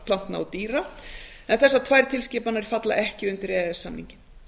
plantna og dýra en þessar tvær tilskipanir falla ekki undir e e s samninginn